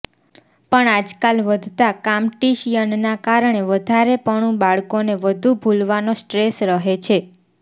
પણ આજકાલ વધતા કામ્ટીશિયનના કારણે વધારેપણુ બાળકોને બધુ ભૂલવાનો સ્ટ્રેસ રહે છે